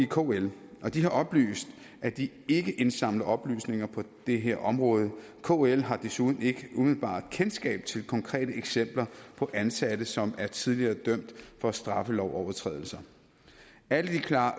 kl og de har oplyst at de ikke indsamler oplysninger på det her område kl har desuden ikke umiddelbart kendskab til konkrete eksempler på ansatte som er tidligere dømt for straffelovsovertrædelser alle de uklare